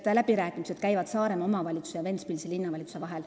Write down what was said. Läbirääkimised käivad Saaremaa omavalitsuse ja Ventspilsi linnavalitsuse vahel.